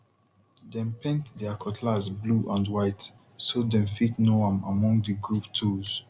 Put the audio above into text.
dem paint her cutlass blue and white so dem fit know am among the group tools